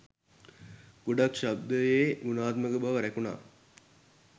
ගොඩක් ශබ්දයේ ගුණාත්මක බව රැකුණා.